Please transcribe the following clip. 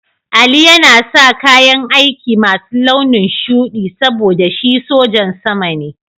Ali yana sa kayan aiki masu launin shuɗi saboda shi sojan sama ne.